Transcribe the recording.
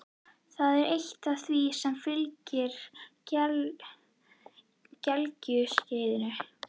Það er eitt af því sem fylgir gelgjuskeiðinu.